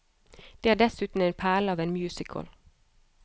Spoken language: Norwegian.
Det er dessuten en perle av en musical.